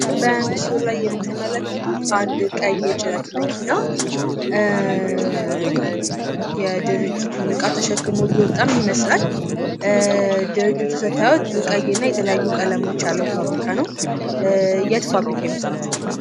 በምስሉ ላይ የምትመለከቱት አንድ ቀይ የጭነት መኪና የድርጅቱን እቃም ተሸክሞ እየወጣ ይመስላል። ድርጅቱ ስታዩት ቀይና የተለያዩ ቀለሞች ያሉት ፋብሪካ ነው። የት ፋብሪካ ይመስላችኋል?